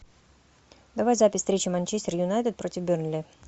давай запись встречи манчестер юнайтед против бернли